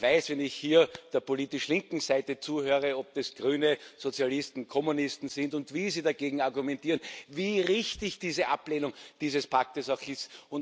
Und ich weiß, wenn ich hier der politisch linken Seite zuhöre ob das Grüne, Sozialisten, Kommunisten sind und wie sie dagegen argumentieren wie richtig diese Ablehnung dieses Paktes auch